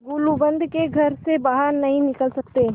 गुलूबंद के घर से बाहर नहीं निकल सकते